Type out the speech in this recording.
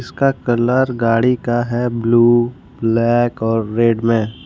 का कलर गाड़ी का है ब्लू ब्लैक और रेड में।